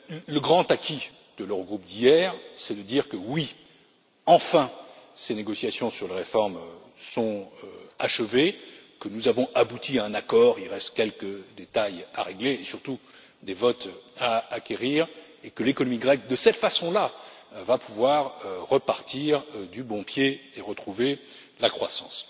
Le grand acquis de l'Eurogroupe d'hier, c'est que ces négociations sur la réforme sont enfin achevées, que nous avons abouti à un accord il reste quelques détails à régler et, surtout, des votes à acquérir et que l'économie grecque de cette façon là va pouvoir repartir du bon pied et retrouver la croissance.